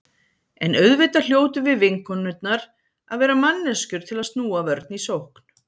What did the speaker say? En auðvitað hljótum við vinkonurnar að vera manneskjur til að snúa vörn í sókn.